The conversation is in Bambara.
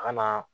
A kana